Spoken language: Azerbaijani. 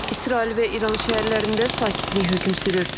İsrail və İran şəhərlərində sakitlik hökm sürür.